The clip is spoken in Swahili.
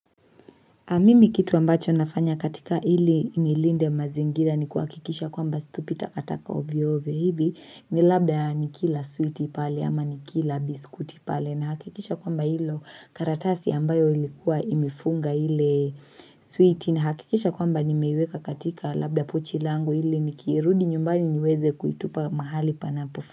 Na mimi kitu ambacho nafanya katika illi nilinde mazingira ni kuhakikisha kwamba situpi takataka ovyoovyo hivi ni labda nikila switi pale ama nikila biskuti pale nahakikisha kwamba hilo karatasi amabayo ilikua imefunga ile switi nahakikisha kwamba nimeiweka katika labda pochi langu hili nikirudi nyumbani niweze kuitupa mahali panapofaa.